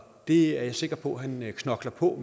det er jeg sikker på at han knokler på